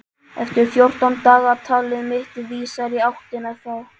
Eftir fjórtán daga- talið mitt vísar í áttina þá.